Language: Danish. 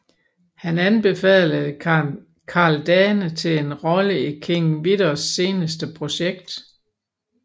Han anbefalede Karl Dane til en rolle i King Vidors seneste projekt